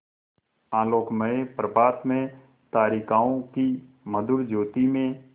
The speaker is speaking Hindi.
आलोकमय प्रभात में तारिकाओं की मधुर ज्योति में